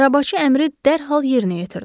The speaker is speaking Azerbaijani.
Arabacı əmri dərhal yerinə yetirdi.